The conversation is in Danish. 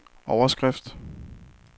overskrift